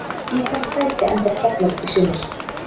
Í hvaða sæti endar Keflavík í sumar?